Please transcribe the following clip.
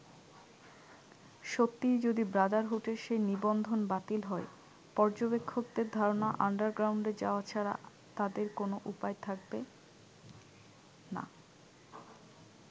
সত্যিই যদি ব্রাদারহুডের সেই নিবন্ধন বাতিল হয়, পর্যবেক্ষকদের ধারনা আন্ডারগ্রাউন্ডে যাওয়া ছাড়া তাদের কোন উপায় থাকবে না।